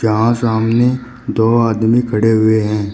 यहां सामने दो आदमी खड़े हुए हैं।